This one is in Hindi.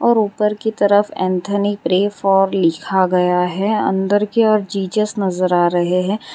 ऊपर की तरफ एंथोनी प्रे फॉर लिखा गया है अंदर के ओर जीसस नजर आ रहे हैं।